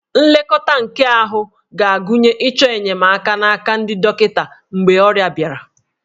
Nlekọta nke ahụ ga-agụnye ịchọ enyemaka n'aka ndị dọkịta mgbe ọrịa bịara